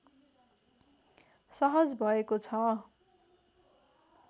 सहज भएको छ